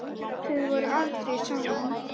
Þið voruð aldrei saman.